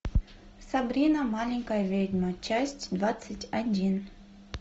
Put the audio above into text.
сабрина маленькая ведьма часть двадцать один